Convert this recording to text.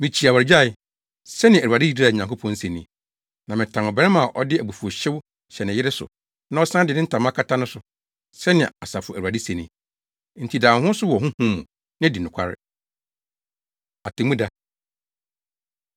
“Mikyi awaregyae!” Sɛnea Awurade Israel Nyankopɔn se ni. “Na metan ɔbarima a ɔde abufuwhyew hyɛ ne yere so na ɔsan de ne ntama kata no so,” sɛnea Asafo Awurade se ni. Enti da wo ho so wɔ honhom mu, na di nokware. Atemmuda